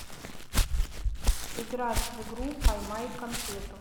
играть в игру поймай конфету